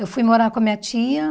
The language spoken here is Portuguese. Eu fui morar com a minha tia.